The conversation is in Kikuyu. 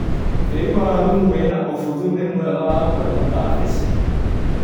Tĩri wa lũmu wĩna ũbuthu nĩmwega wa kũrĩma kabeci.